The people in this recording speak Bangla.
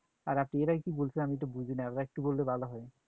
আর আপনি এর আগে কি বলছেন আমি তো বুঝি নাই, আবার একটু বললে ভালো হয়।